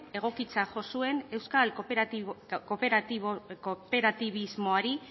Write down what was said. egokitzat jo zuen euskal kooperatibismoari